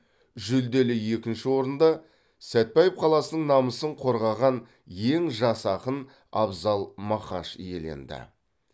жүлделі екінші орынды сәтбаев қаласының намысын қорғаған ең жас ақын абзал мақаш иеленді